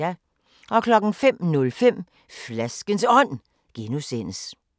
05:05: Flaskens Ånd (G)